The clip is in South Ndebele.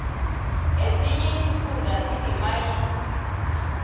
ezinye iimfunda zineemayini